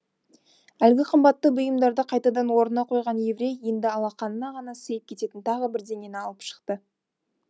әлгі қымбатты бұйымдарды қайтадан орнына қойған еврей енді алақанына ғана сыйып кететін тағы бірдеңені алып шықты